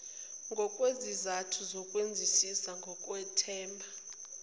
ngokwezizathu zokwenzisisa ngokwethemba